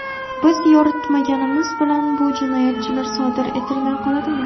Biz yoritmaganimiz bilan bu jinoyatlar sodir etilmay qoladimi?